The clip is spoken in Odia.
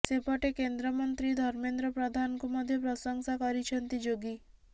ସେପଟେ କେନ୍ଦ୍ରମନ୍ତ୍ରୀ ଧର୍ମେନ୍ଦ୍ର ପ୍ରଧାନଙ୍କୁ ମଧ୍ୟ ପ୍ରଶଂସା କରିଛନ୍ତି ଯୋଗୀ